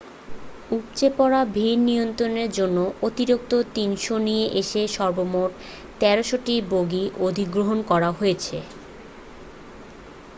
উপচে পড়া ভিড় নিয়ন্ত্রনের জন্য অতিরিক্ত 300 নিয়ে এসে সর্বমোট 1,300 টি বগি অধিগ্রহণ করা হয়েছিল